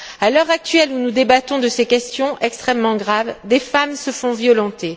À l'heure où nous débattons de ces questions extrêmement graves, des femmes se font violenter.